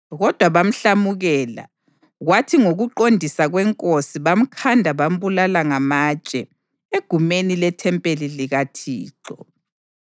Kodwa bamhlamukela, kwathi ngokuqondisa kwenkosi bamkhanda bambulala ngamatshe egumeni lethempeli likaThixo.